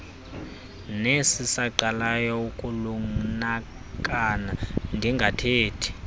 nesisaqalayo ukulunakana ndingathethi